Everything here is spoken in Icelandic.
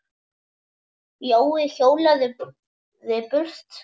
Jói hjólaði burt.